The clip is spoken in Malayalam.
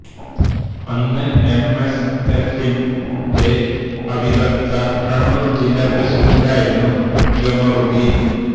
അന്ന് എം എസ് എഫിന്റെ അവിഭക്ത കണ്ണൂർ ജില്ലാ പ്രസിഡന്റ് ആയിരുന്നു ഖമറുദ്ദീൻ